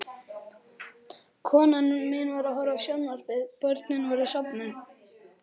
Konan mín var að horfa á sjónvarpið, börnin voru sofnuð.